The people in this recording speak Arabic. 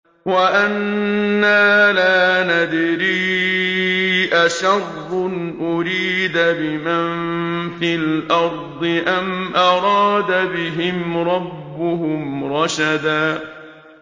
وَأَنَّا لَا نَدْرِي أَشَرٌّ أُرِيدَ بِمَن فِي الْأَرْضِ أَمْ أَرَادَ بِهِمْ رَبُّهُمْ رَشَدًا